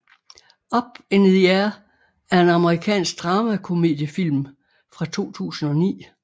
Up in the Air er en amerikansk dramakomediefilm fra 2009